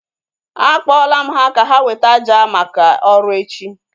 A kpọla m ha ka ha weta àjà maka ọrụ echi